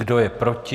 Kdo je proti?